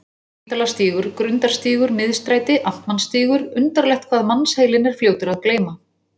Spítalastígur, Grundarstígur, Miðstræti, Amtmannsstígur undarlegt hvað mannsheilinn er fljótur að gleyma.